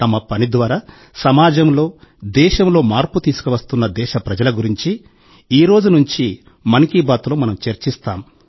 తమ పని ద్వారా సమాజంలో దేశంలో మార్పు తీసుకువస్తున్న దేశప్రజల గురించి ఈ రోజు నుండి మరోసారి 'మన్ కీ బాత్' లో మనం చర్చిస్తాం